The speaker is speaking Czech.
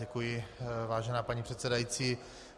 Děkuji, vážená paní předsedající.